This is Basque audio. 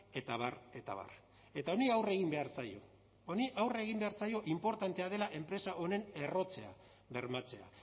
eta abar eta abar eta honi aurre egin behar zaio honi aurre egin behar zaio inportantea dela enpresa honen errotzea bermatzea